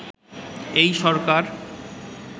এই সরকার